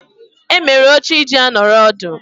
Emere oche iji nọrọ ọdụ.